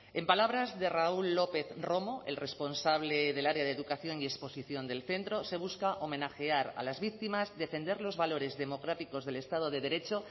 en palabras de raúl lópez romo el responsable del área de educación y exposición del centro se busca homenajear a las víctimas defender los valores democráticos del estado de derecho